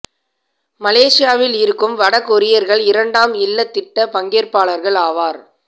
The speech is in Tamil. மலேசியாவில் இருக்கும் வட கொரியர்கள் இரண்டாம் இல்லத் திட்ட பங்கேற்பாளர்கள் ஆவர்